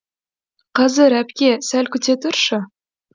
қазір әпке сәл күте тұршы